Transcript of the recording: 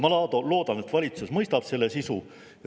Ma loodan, et valitsus mõistab selle sisu.